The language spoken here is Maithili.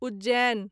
उज्जैन